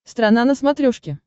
страна на смотрешке